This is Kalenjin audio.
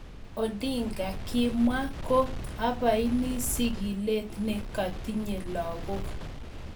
Odinga kimwa ko abaini sigilet ne katinye lagok.